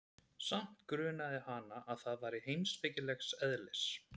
Samt grunaði hana, að það væri heimspekilegs eðlis.